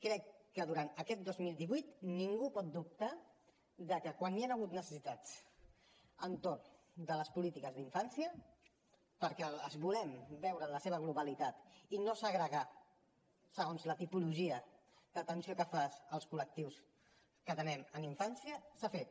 crec que durant aquest dos mil divuit ningú pot dubtar que quan hi han hagut necessitats entorn de les polítiques d’infància perquè les volem veure en la seva globalitat i no segregar segons la tipologia de l’atenció que fas segons als col·lectius que atenem en infància s’ha fet